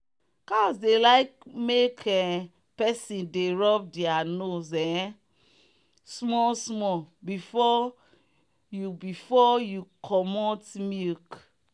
cows dey like make um person dey rub their nose um small small before you before you commot milk.